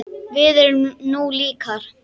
Við erum nú líkar!